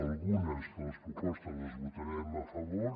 algunes de les propostes les votarem a favor